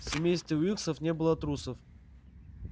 в семействе уилксов не было трусов